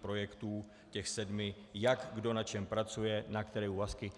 projektů těch sedmi, jak kdo na čem pracuje, na které úvazky.